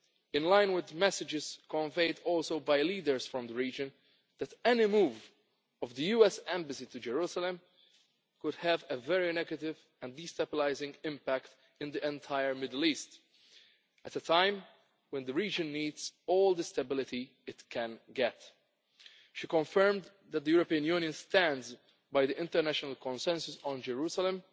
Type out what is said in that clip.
clearly, in line with the messages conveyed also by leaders from the region, that any move of the US Embassy to Jerusalem could have a very negative and destabilising impact in the entire Middle East at a time when the region needs all the stability it can get. She confirmed that the European Union stands by the international consensus on Jerusalem